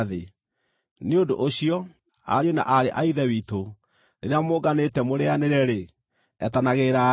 Nĩ ũndũ ũcio, ariũ na aarĩ a Ithe witũ, rĩrĩa mũnganĩte mũrĩĩanĩre-rĩ, etanagĩrĩrai.